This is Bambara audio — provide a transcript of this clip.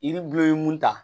Yiri bulu ye mun ta